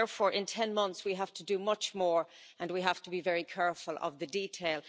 So, therefore, in 10 months we have to do much more and we have to be very careful of the detail.